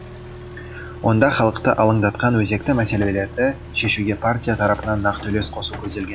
онда халықты алаңдатқан өзекті мәселелерді шешуге партия тарапынан нақты үлес қосу көзделген